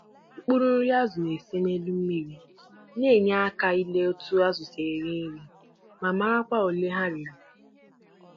Nri ọkụkọ ndị na-ese n'elu mmiri na-eme ka ọ dị mfe ikiri azụ ka ọ na-eri, ma nyekwa aka ịmara ogo nri ha n'eri